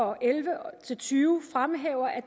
og elleve til tyve fremhæver at